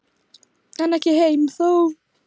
En ekki heim þó.